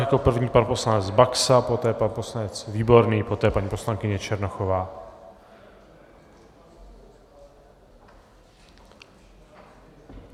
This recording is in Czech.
Jako první pan poslanec Baxa, poté pan poslanec Výborný, poté paní poslankyně Černochová.